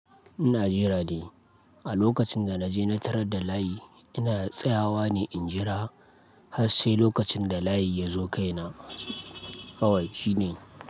Ina jira ne, a lokacin da na je na tarar da layi, ina tsayawa ne in jira har sai lokacin da layi ya zo kaina kawai shine.